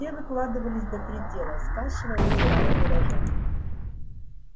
все выкладывались до предела скашивая и убирая урожай